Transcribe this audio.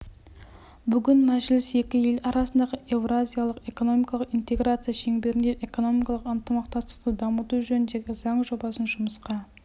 бүгін мәжіліс екі ел арасындағы еуразиялық экономикалық интеграция шеңберінде экономикалық ынтымақтастықты дамыту жөніндегі заң жобасын жұмысқа